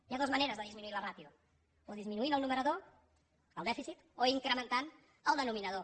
hi ha dues maneres de disminuir la ràtio o disminuint el numerador el dèficit o incrementant el denominador